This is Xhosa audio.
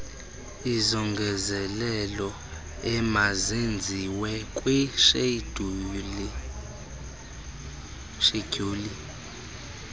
izongezelelo emazenziwe kwishedyuli